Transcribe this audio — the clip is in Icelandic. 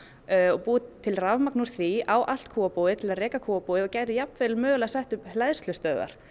búið til rafmagn úr því á allt kúabúið til að reka kúabúið og gætu mögulega sett upp hleðslustöðvar